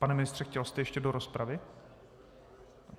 Pane ministře, chtěl jste ještě do rozpravy?